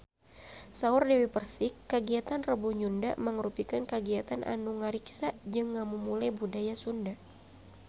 Saur Dewi Persik kagiatan Rebo Nyunda mangrupikeun kagiatan anu ngariksa jeung ngamumule budaya Sunda